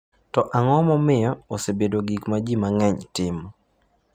To ang’o momiyo osebedo gik ma ji mang’eny timo?